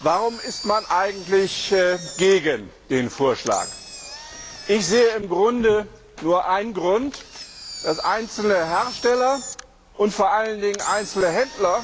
Warum ist man eigentlich gegen den Vorschlag? Ich sehe im Grunde nur einen Grund, dass einzelne Hersteller und vor allen Dingen einzelne Händler